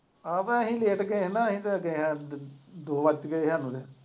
ਆਹੋ ਤੇ ਅਸੀਂ ਲੇਟ ਗਏ ਹੀ ਨਾ ਅਸੀਂ ਤੇ ਦੋ ਵਜ ਗਏ ਹੀ ਸਾਨੂੰ ਤੇ।